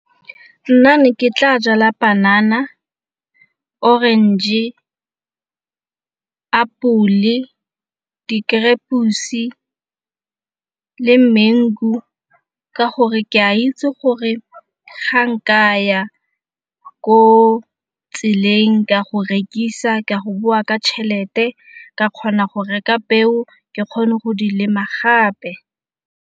Nna ne ke tla jala panana, orange, apole, le mango ka gore ke a itse gore ga nkaya ko tseleng ka go rekisa ka go bowa ka tšhelete ka kgona go reka peo ke kgone go lema gape.